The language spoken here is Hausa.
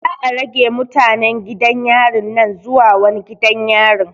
Za'a rage mutanen gidan yarin nan zuwa wani gidan yarin.